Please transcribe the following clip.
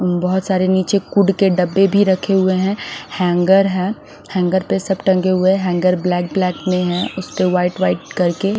बहोत सारे निचे कुड के डब्बे भी रखे हुए है हैंगर है हेंगर पे सब टंगे हुए है हैंगर ब्लैक ब्लैक में है उसपे वाइट वाइट करके--